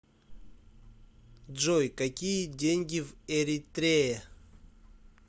джой какие деньги в эритрее